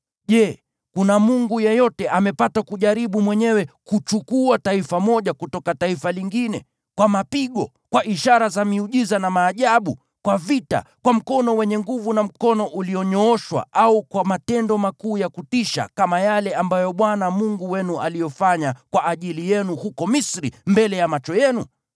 Je, kuna mungu yeyote amepata kujaribu mwenyewe kuchukua taifa moja kutoka taifa lingine, kwa mapigo, kwa ishara za miujiza na maajabu, kwa vita, kwa mkono wenye nguvu na mkono ulionyooshwa au kwa matendo makuu ya kutisha, kama yale ambayo Bwana Mungu wenu aliyofanya kwa ajili yenu huko Misri mbele ya macho yenu?